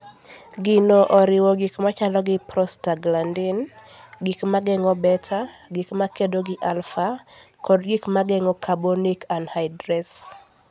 Gigo oriwo gik machalo gi prostaglandin, gik ma geng'o beta, gik makedo gi alpha, kod gik ma geng'o carbonic anhydrase.